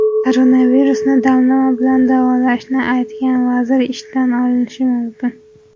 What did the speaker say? Koronavirusni damlama bilan davolashni aytgan vazir ishdan olinishi mumkin.